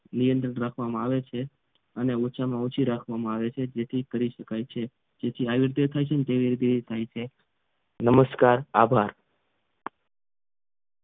નિયંત્રણ રાખવામાં આવે છે અને ઓછામાં ઓછી રાખવામાં આવે છે જેથી કરી શકાય છે તેથી આવી રીતે થાય છે તેવી થાય છે નમસ્કાર આભાર